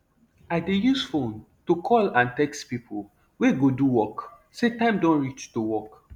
i dey use fone to call and txt pipo wey go do work say time don reach to work